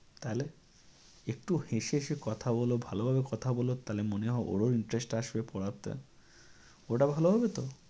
তাহলে? একটু হেসে হেসে কথা বলো ভালভাবে কথা বলো তাহলে মনে হয় ওর ও interest আসবে পড়াতে। ওটা ভাল হবে তো?